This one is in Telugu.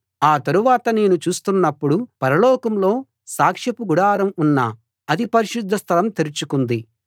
ఆ తరువాత నేను చూస్తున్నప్పుడు పరలోకంలో సాక్షపు గుడారం ఉన్న అతి పరిశుద్ధ స్థలం తెరుచుకుంది